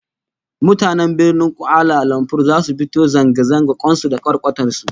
Mutanen Birnin Kuala Lumpur zasu fito zanga zanga kwan su da kwarkwatar su